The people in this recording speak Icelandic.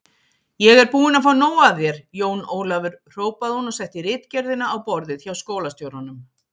Ég er búin að fá nóg af þér, Jón Ólafur hrópaði hún og setti ritgerðina á borðið hjá skólastjóranum.